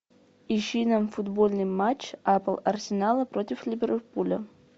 ищи нам футбольный матч апл арсенала против ливерпуля